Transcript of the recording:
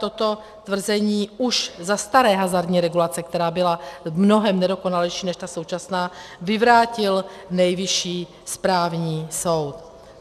Toto tvrzení už za staré hazardní regulace, která byla v mnohém nedokonalejší než ta současná, vyvrátil Nejvyšší správní soud.